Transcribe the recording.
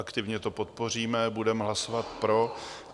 Aktivně to podpoříme, budeme hlasovat pro.